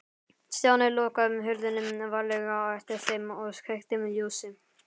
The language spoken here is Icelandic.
Stjáni lokaði hurðinni varlega á eftir þeim og kveikti ljósið.